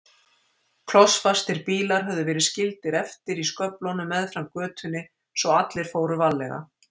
Klossfastir bílar höfðu verið skildir eftir í sköflunum meðfram götunni svo allir fóru varlega.